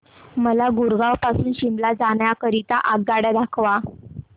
मला गुरगाव पासून शिमला जाण्या करीता आगगाड्या दाखवा